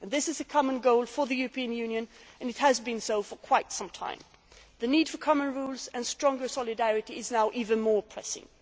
need. This is a common goal for the European Union and has been so for quite some time. The need for common rules and greater solidarity is now even more pressing.